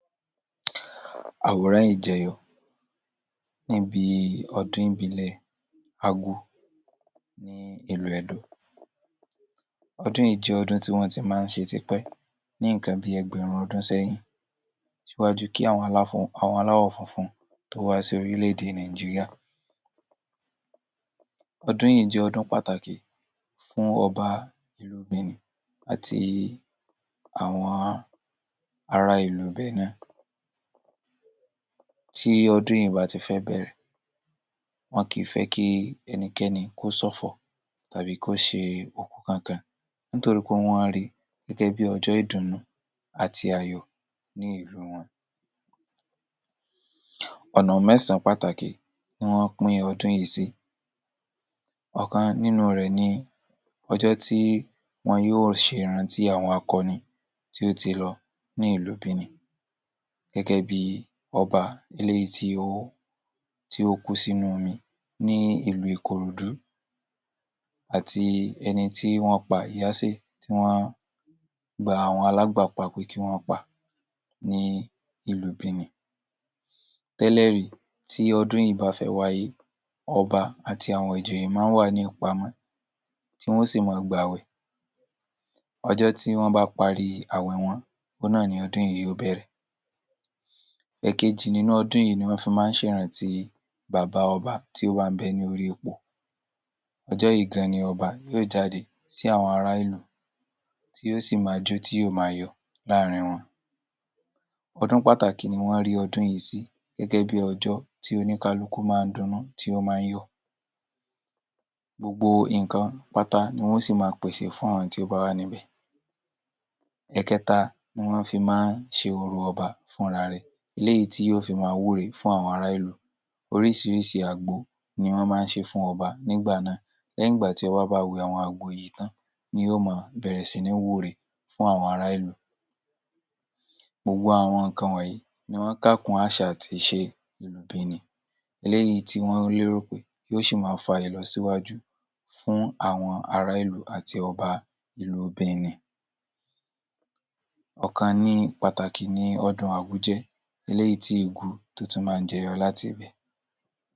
Àwòrán yìí jẹyọ níbi ọdún ìbílẹ̀ àgò ní ìlú Edo. ọdún yìí jẹ́ ọdún tí wọ́n ti máa ń ṣe tipẹ́ ní nǹkan bí i ẹgbẹ̀rún ọdún sẹ́yìn ṣíwájú kí àwọn aláwọ̀ funfun tó wá sí orílẹ̀-èdè Nàìjíríà. ọdún yìí jẹ́ ọdún pàtàkì fún ọba ìlú benin àti àwọn ara ìlú benin. Tí ọdún yìí bá ti fẹ́ bẹ̀rẹ̀, wọn kì í fẹ́ kí ẹnikẹ́ni kó ṣọ̀fọ̀ tàbí kó ṣe òkú kankan nítorí pé wọ́n ri gẹ́gẹ́ bí ọjọ́ ìdùnnú àti ayọ̀ ní ìlú wọn. ọ̀nà mẹ́sàn án pàtàkì ni wọ́n pín ọdún yìí sí, ọ̀kan nínú rẹ̀ ni ọjọ́ tí wọn yóò ṣè rántí àwọn akọni tí ó ti lọ ní ìlú Benin gẹ́gẹ́ bí i ọba eléyìí tí ó tí ó kú sínú omi ní ìlú ìkòròdú àti ẹni tí wọ́n pa tí wọ́n gba àwọn alágbàpa pé kí wọ́n pa ní ìlú Benin. Tẹ́lẹ̀ rí tí ọdún yìí bá fẹ́ wáyé ọba àti àwọn ìjòyè máa ń wà ní ìpamọ́ tí wọn ó sì máa gbàwẹ̀. ọjọ́ tí wọ́n bá parí àwẹ̀ wọn òun náà ni ọdún yìí ó bẹ̀rẹ̀. Ẹ̀kejì nínú ọdún yìí ni wọ́n fi máa ń ṣè rántí bàbá ọbá tí ó bá ń bẹ lórí ipò, ọjọ́ yìí gan ni ọba yóò jáde sí àwọn ara ìlú tí yóò sì máa jó tí yó máa yọ̀ láàrin wọn. ọdún pàtàkì ni wọ́n rí ọdún yìí sí gẹ́gẹ́ bí i ọjọ́ tí oníkálukú máa ń jó tí ó máa ń yọ̀. Gbogbo nǹkan pátá ni wọn ó sì máa pèsè fún àwọn tí ó bá wà níbẹ̀. Ẹ̀kẹta ni wọ́n fi máa ń ṣe orò ọbá fún ra rẹ̀ léyì tí yóò fi máa wúre fún ará ìlú. Oríṣiríṣi àgbo ni wọ́n máa ń ṣe fún ọbá nígbà náà. Lẹ́yìn ìgbà tí ọba bá wẹ àwọn àgbo yìí tán ni yóò máa bẹ̀rẹ̀ sí ní wúre fún àwọn ará ìlú. Gbogbo àwọn nǹkan wọ̀nyí ni wọ́n kà kún àṣà àti ìṣe ìlú Benin eléyìí tí wọ́n lérò pé yó ṣì máa fa ìlọsíwájú fún àwọn ará ìlú àti ọbá ìlú Benin. ọ̀kan pàtàkì ni ọdún jẹ́ eléyìí tí tó ti máa ń jẹyọ láti ibẹ̀.